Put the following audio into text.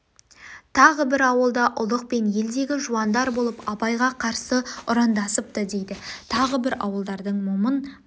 тағы бір ауылда ұлық пен елдегі жуандар болып абай-ға қарсы ұрандасыпты дейді тағы бір ауылдардың момын